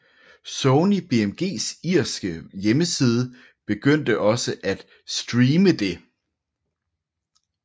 Sony BMGs irske hjemmeside begyndte også at streame det